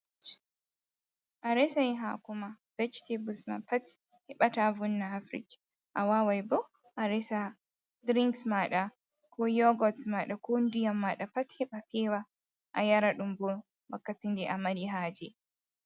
A resay haako maa "bejitebuls" maa pat heɓa taa vonna ha "firish" a waaway bo a resa "dirinks" maaɗa koo "yogots" maaɗa koo ndiyam maaɗa pat heɓa feewa a yara ɗum bo wakkati nde a mari haaje.